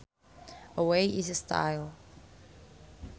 A way is a style